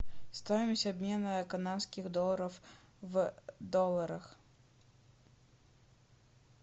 стоимость обмена канадских долларов в долларах